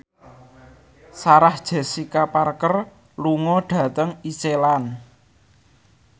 Sarah Jessica Parker lunga dhateng Iceland